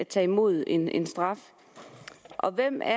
tage imod en en straf og hvem er